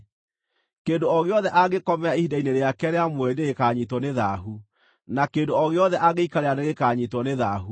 “ ‘Kĩndũ o gĩothe angĩkomera ihinda-inĩ rĩake rĩa mweri nĩgĩkanyiitwo nĩ thaahu, na kĩndũ o gĩothe angĩikarĩra nĩgĩkanyiitwo nĩ thaahu.